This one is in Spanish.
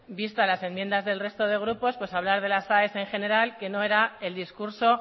vistas las enmiendas del resto de grupos pues hablar de las aes en general que no era el discurso